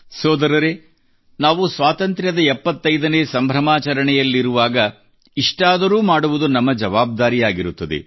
ಸೋದರರೆ ನಾವು ಸ್ವಾತಂತ್ರ್ಯದ 75 ನೇ ಸಂಭ್ರಮಾಚರಣೆಯಲ್ಲಿರುವಾಗ ಇಷ್ಟಾದರೂ ಮಾಡುವುದು ನಮ್ಮ ಜವಾಬ್ದಾರಿಯಾಗಿರುತ್ತದೆ